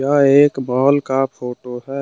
यह एक बाल का फोटो है।